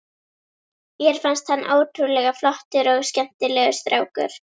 Mér fannst hann ótrúlega flottur og skemmtilegur strákur.